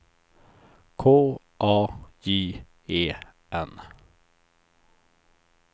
K A J E N